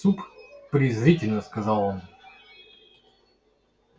суп презрительно сказал он